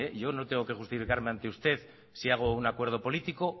yo no tengo que justificarme ante usted si hago un acuerdo político